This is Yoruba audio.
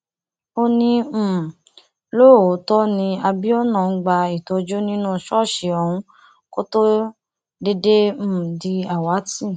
ó ní um lóòótọ ni abiona ń gba ìtọjú nínú ṣọọṣì òun kó tóó déédéé um di àwátì